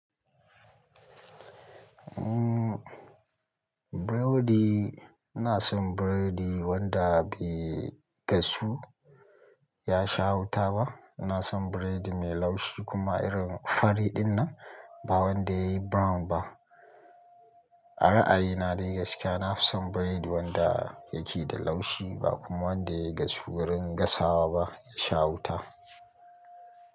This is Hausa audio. Umm, burodi, ina son burodi wanda bai gasu ya sha wuta ba. Ina son burodi mai laushi kuma irin fari dinnan, ba wanda yayi brown ba. A ra'ayina dai gaskiya, na fi son biredi wanda yake da laushi ba kuma wanda yayi gasu wurin gasawa ba ya sha wuta.